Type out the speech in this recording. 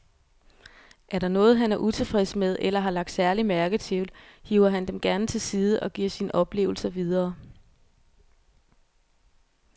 Er der noget, han er utilfreds med eller har lagt særlig mærke til, hiver han dem gerne til side og giver sine oplevelser videre.